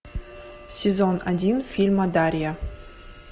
сезон один фильма дарья